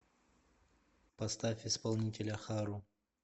поставь исполнителя хару